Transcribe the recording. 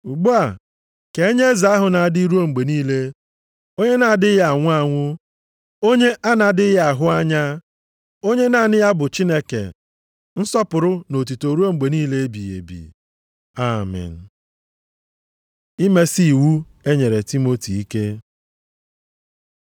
Ugbu a, ka enye Eze ahụ na-adị ruo mgbe niile, Onye na-adịghị anwụ anwụ, Onye a na-adịghị ahụ anya, Onye naanị ya bụ Chineke, nsọpụrụ na otuto ruo mgbe niile ebighị ebi. Amen. Imesi iwu e nyere Timoti ike